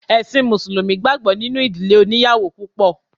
Ẹ̀ṣin mùsùlùmí gbàgbọ́ nínú ìdílé oníyàwò púpọ̀.